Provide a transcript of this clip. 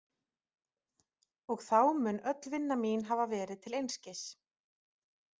Og þá mun öll vinna mín hafa verið til einskis.